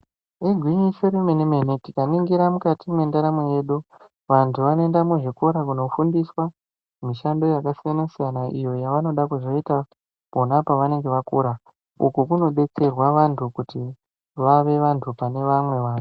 Igwinyiso remene- mene tingade kuzviningira mukati mwendaramo yedu vanhu vanoenda muzvikora kundofundiswa mishando yakasiyana-siyana iyo yavanoda kuzoita pona pavanenge vakura uku kunodetserwa vantu kuti vave vantu pane vamwe vantu